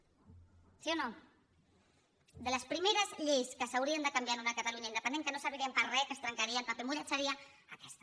sí o no de les primeres lleis que s’haurien de canviar en una catalunya independent que no servirien per a res que es trencarien paper mullat seria aquesta